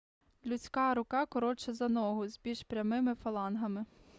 людська рука коротша за ногу з більш прямими фалангами